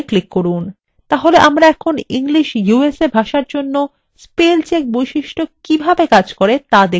তাহলে আমরা এখন english usa ভাষার জন্য spell check বৈশিষ্ট্য কিভাবে কাজ করে so দেখতে প্রস্তুত